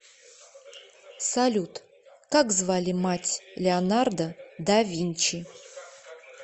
салют как звали мать леонардо да винчи